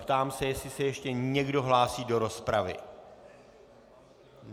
Ptám se, jestli se ještě někdo hlásí do rozpravy.